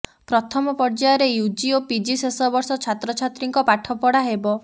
ପ୍ରଥମ ପର୍ଯ୍ୟାୟରେ ୟୁଜି ଓ ପିଜି ଶେଷ ବର୍ଷ ଛାତ୍ରଛାତ୍ରୀଙ୍କ ପାଠପଢା ହେବ